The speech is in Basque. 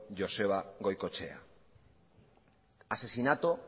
joseba goikoetxea asesinato